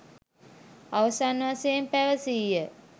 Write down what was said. අවසන් වශයෙන් පැවසීය.